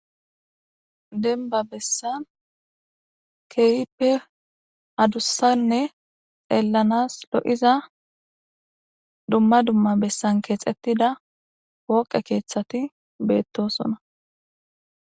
denba bessan keeyippe hadussanne xeellanas lo7iza dumma dumma bessan keexettida wooqe keeththati beettosona